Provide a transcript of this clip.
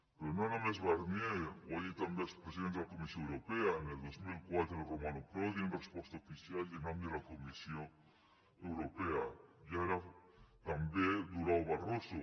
però no només barnier ho han dit també el president de la comissió europea el dos mil quatre romano prodi en resposta oficial i en nom de la comissió europea i ara també durao barroso